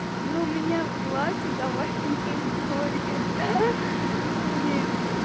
но у меня платье давай другое блин